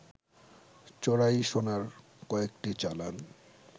চোরাই সোনার কয়েকটি চালান